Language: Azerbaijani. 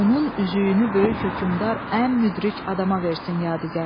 Onun üzüyünü böyük hökmdar ən müdrik adama versin yadigar.